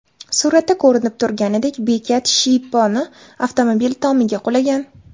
Suratda ko‘rinib turganidek, bekat shiyponi avtomobil tomiga qulagan.